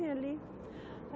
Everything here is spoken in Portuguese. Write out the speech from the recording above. Ali.